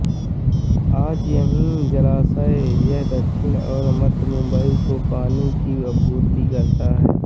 आज यही जलाशय यह दक्षिण और मध्य मुम्बई को पानी की आपूर्ति करता है